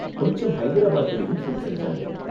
கொஞ்சம் ஹைதராபாத்லயும் ஷூட் செஞ்சாங்க.